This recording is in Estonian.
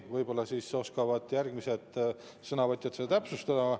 Võib-olla oskavad järgmised sõnavõtjad täpsustada.